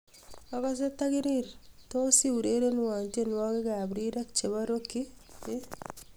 agose tagirir tos eurerenwon tienwogik ab rirek chebo rock ii